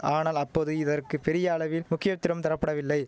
ஆனால் அப்போது இதற்கு பெரிய அளவில் முக்கியத்துரம் தரப்படவில்லை